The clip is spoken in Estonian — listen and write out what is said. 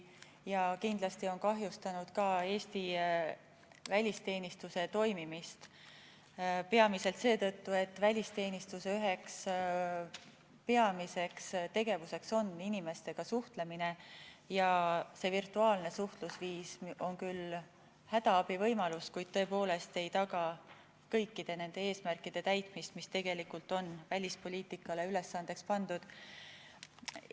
Ja kindlasti on see kahjustanud ka Eesti välisteenistuse toimimist, peamiselt seetõttu, et välisteenistuse üks peamine tegevus on inimestega suhtlemine ja virtuaalne suhtlusviis on küll hädaabivõimalus, kuid tõepoolest ei taga kõikide nende eesmärkide täitmist, mis tegelikult on välispoliitikale ülesandeks pandud.